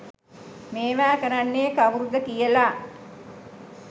මේවා කරන්නේ කව්රුද කියල.